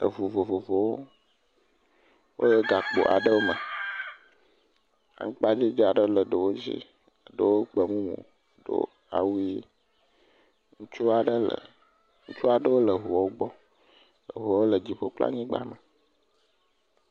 Eŋu vovovowo wole gakpo aɖewo me, aŋkpa dzodzo aɖewo dzi, ɖewo gbe mumu, ɖewo awu ʋi. ŋutsu aɖe le ŋutsu aɖewo le ŋuɔwo gbɔ evɔ wole dziƒo kple anyigba me.